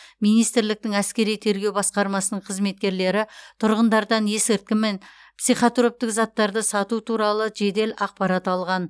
министрліктің әскери тергеу басқармасының қызметкерлері тұрғындардан есірткі мен психотроптық заттарды сату туралы жедел ақпарат алған